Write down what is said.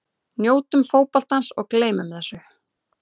Njótum fótboltans og gleymum þessu.